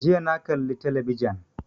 Jiya na kalla talabijan